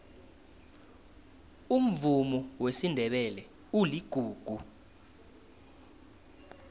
umvumo wesindebele uligugu